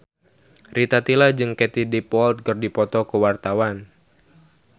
Rita Tila jeung Katie Dippold keur dipoto ku wartawan